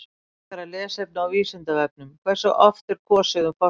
Frekara lesefni á Vísindavefnum: Hversu oft er kosið um forseta?